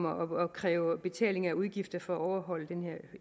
at kræve betaling af udgifter for at overholde den her